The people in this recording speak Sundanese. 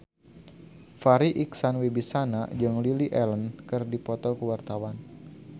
Farri Icksan Wibisana jeung Lily Allen keur dipoto ku wartawan